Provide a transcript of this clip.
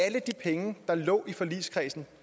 alle de penge der lå i forligskredsen